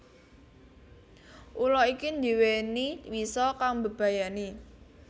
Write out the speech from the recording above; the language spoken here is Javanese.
Ula iki ndiweni wisa kang mbebayani